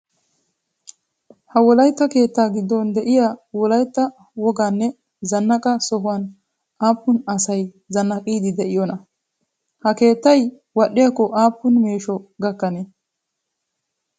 Ha wolayitta keettaa gidoon de'iyaa wolayitta wogaa nne zannaqaa sohuwaan aapuun asay zannaqiide de'iyoona? Ha keettay wadhdhiyaakko aapuun meesho gakanee?